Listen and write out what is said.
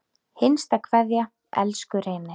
HINSTA KVEÐJA Elsku Reynir.